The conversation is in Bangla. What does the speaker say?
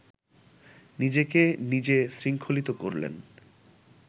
নিজেকে নিজে শৃঙ্খলিত করলেন